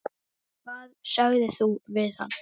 Hvað sagðir þú við hann?